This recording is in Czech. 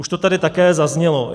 Už to tady také zaznělo.